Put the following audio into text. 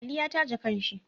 Aliyi ya taje kan shi